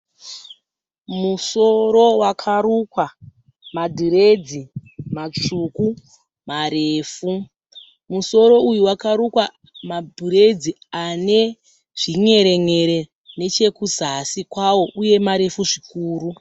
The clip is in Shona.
Musoro wakarukwa madhiredzi matsvuku marefu, musoro uyu wakarukwa mabhuredzi ane zvin'eren'ere nechekuzasi kwawo uye marefu zvikuru.